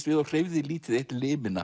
við og hreyfði lítið eitt